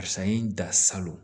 Karisa ye n da salon